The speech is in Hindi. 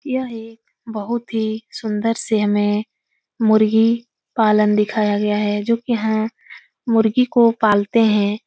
यह एक बहुत ही सुन्दर सी हमें मुर्गी पालन दिखाया गया है जोकि यहाँ मुर्गी को पालते हैं।